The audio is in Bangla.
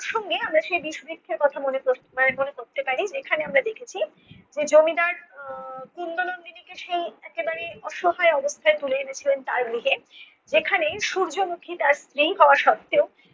প্রসঙ্গে আমরা সেই বিষবৃক্ষের কথা মনে ক~ মনে করতে পারি যেখানে আমরা দেখেছি যে জমিদার আহ কুন্দ নন্দিনীকে সেই একেবারে অসহায় অবস্থায় তুলে এনেছিলেন তার গৃহে যেখানে সূর্যমুখী তার স্ত্রী হওয়া সত্ত্বেও